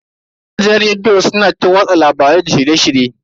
Gidajen rediyo su na watsa labaru da shirye-shirye.